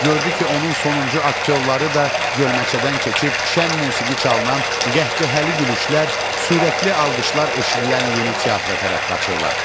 Gördü ki, onun sonuncu aktyorları da gölməçədən keçib şən musiqi çalınan, qəhqəhəli gülüşlər, sürəkli alqışlar eşidilən yeni teatra tərəf qaçırlar.